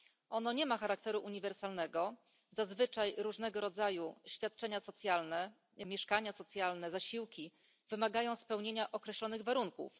Ono nie ma charakteru uniwersalnego zazwyczaj różnego rodzaju świadczenia socjalne, mieszkania socjalne, zasiłki wymagają spełnienia określonych warunków.